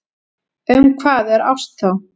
Um hvað er ást þá?